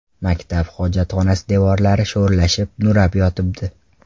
Maktab hojatxonasi devorlari sho‘rlashib, nurab yotibdi.